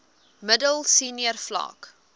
middel senior vlak